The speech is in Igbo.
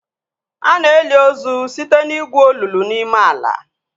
Ana eli ozu site na igwu olulu n'ime ala